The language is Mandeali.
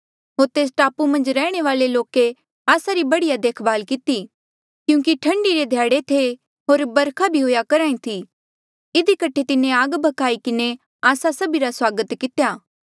होर तेस टापू मन्झ रैहणे वाले लोके आस्सा री बढ़िया देखभाल किती क्यूंकि ठंडी रे ध्याड़े थे होर वरखा भी हुएया करहा ई थी इधी कठे तिन्हें आग भ्खाई किन्हें आस्सा सभीरा स्वागत कितेया